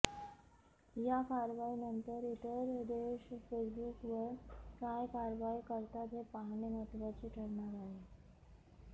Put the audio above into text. या कारवाईनंतर इतर देश फेसबुकवर काय कारवाई करतात हे पाहणे महत्त्वाचे ठरणार आहे